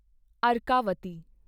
Arkavathi